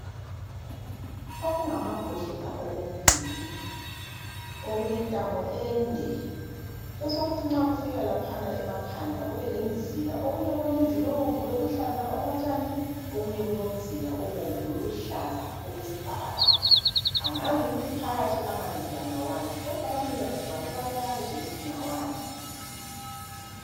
Okungamabhodlela okubili okulentamo ende kuthi nxa sokufika lapha emakhanda kube lemzila ebomvu loluhlaza okotshani okunye kulomzila obomvu lolu hlaza okwesibhakabhaka angazi ukuthi phakathi amanzi la alani kodwa abanikazi bawo bayazi ukuthi ngawani.